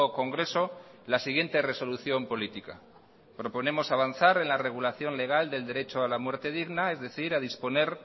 congreso la siguiente resolución política proponemos avanzar en la regulación legal del derecho a la muerte digna es decir a disponer